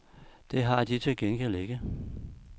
Det har de til gengæld ikke.